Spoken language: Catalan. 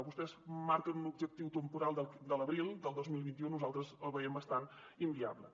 vostès marquen un objectiu temporal de l’abril del dos mil vint u nosaltres el veiem bastant inviable